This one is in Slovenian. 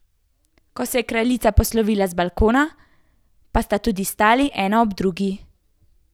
Ko se je kraljica poslovila z balkona, pa sta tudi stali ena ob drugi.